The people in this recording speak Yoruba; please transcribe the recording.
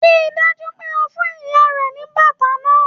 Ríi dájú pé o fún ìyá rẹ ní bàtà náà!